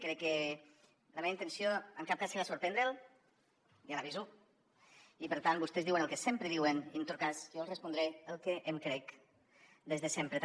crec que la meva intenció en cap cas serà sorprendre’l ja l’aviso i per tant vostès diuen el que sempre diuen i en tot cas jo els respondré el que em crec des de sempre també